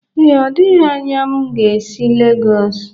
Ee, ọ dịghi anya ma esi Legọs.